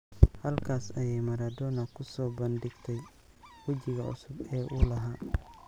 Halkaas ayay Maradona ku soo bandhigtay wejiga cusub ee uu lahaa.